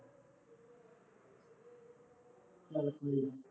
ਚੱਲ ਠੀਕ